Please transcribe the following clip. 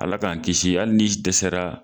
Ala k'an kisi hali ni dɛsɛra,